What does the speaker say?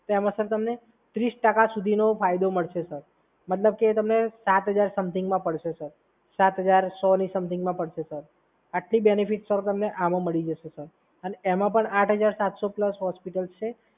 તો એમાં સર તમને ત્રીસ ટકા સુધીનો ફાયદો મળશે, સર. મતલબ કે તમને સાત હજાર સમથિંગમાં પડશે, સર. સાત હજાર સો ના સમથિંગમાં પડશે સર. આટલું બેનિફિટ સર તમને આમાં મળી જશે સર. અને એમાં પણ આઠ હજાર પ્લસ હોસ્પિટલ્સ છે.